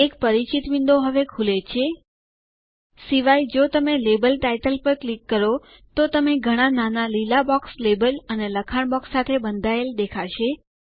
એક પરિચિત વિન્ડો હવે ખુલે છે સિવાય જો તમે લેબલ ટાઇટલ પર ક્લિક કરો તો તમે ઘણા નાના લીલા બોક્સ લેબલ અને લખાણ બોક્સ સાથે બંધાયેલ દેખાશે